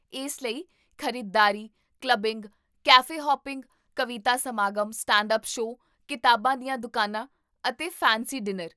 ਇਸ ਲਈ, ਖ਼ਰੀਦਦਾਰੀ, ਕਲੱਬਿੰਗ, ਕੈਫੇ ਹੌਪਿੰਗ, ਕਵਿਤਾ ਸਮਾਗਮ, ਸਟੈਂਡ ਅੱਪ ਸ਼ੋਅ, ਕਿਤਾਬਾਂ ਦੀਆਂ ਦੁਕਾਨਾਂ, ਅਤੇ ਫੈਂਸੀ ਡਿਨਰ